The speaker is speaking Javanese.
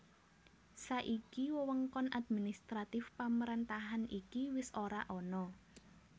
Saiki wewengkon administratif pemerentahan iki wis ora ana